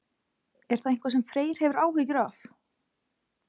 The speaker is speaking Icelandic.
Er það eitthvað sem Freyr hefur áhyggjur af?